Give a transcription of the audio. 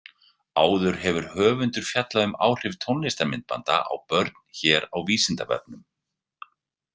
Áður hefur höfundur fjallað um áhrif tónlistarmyndbanda á börn hér á Vísindavefnum.